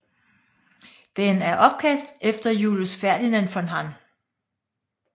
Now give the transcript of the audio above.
Den er opkaldt efter Julius Ferdinand von Hann